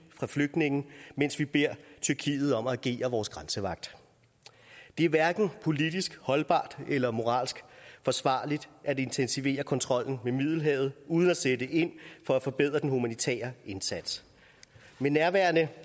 fra flygtninge mens vi beder tyrkiet om at agere vores grænsevagt det er hverken politisk holdbart eller moralsk forsvarligt at intensivere kontrollen ved middelhavet uden at sætte ind for at forbedre den humanitære indsats med nærværende